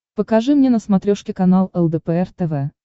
покажи мне на смотрешке канал лдпр тв